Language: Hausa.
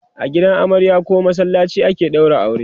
a gidan amarya koh masallaci ake ɗaura aure